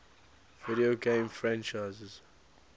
video game franchises